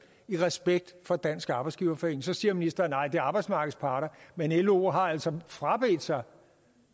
i respekt for dansk arbejdsgiverforening så siger ministeren nej det er arbejdsmarkedets parter men lo har altså frabedt sig